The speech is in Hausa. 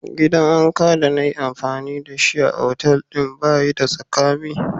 Gidan wanka de na yi amfani da shi a'otelin ba yi da tsakami.